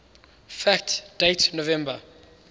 fact date november